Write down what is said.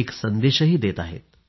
एक संदेशही देत आहेत